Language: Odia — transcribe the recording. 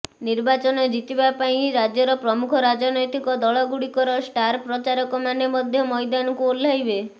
ନିର୍ବାଚନ ଜିତିବା ପାଇଁ ରାଜ୍ୟର ପ୍ରମୁଖ ରାଜନୈତିକ ଦଳ ଗୁଡ଼ିକର ଷ୍ଟାର ପ୍ରଚାରକ ମାନେ ମଧ୍ୟ ମଇଦାନକୁ ଓହ୍ଲାଇବେ